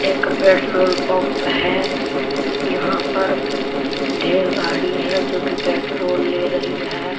एक petrol pump है यहां पर ढेर गाड़ी है जोकि पेट्रोल ले रही है।